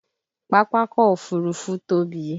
Pápákọ̀ Òfurufú tóbi